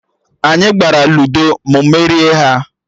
Anyị gbara Luudo, mụ merie ha